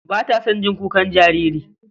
Ba ta son jin kukan jariri.